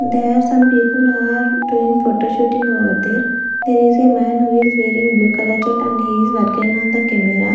there are some people who are doing photoshooting over there there is a man who is wearing blue color shirt and he is working on the camera.